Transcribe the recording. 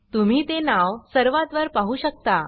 तुम्ही ते नाव सर्वात वर पाहु शकता